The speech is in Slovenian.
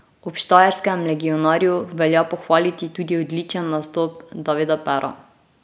Ob štajerskem legionarju velja pohvaliti tudi odličen nastop Davida Pera.